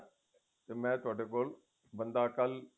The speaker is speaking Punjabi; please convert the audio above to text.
ਮੈਂ ਤੁਹਾਡੇ ਕੋਲ ਬੰਦਾ ਕੱਲ